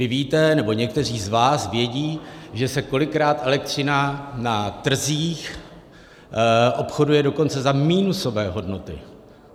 Vy víte, nebo někteří z vás vědí, že se kolikrát elektřina na trzích obchoduje dokonce za minusové hodnoty.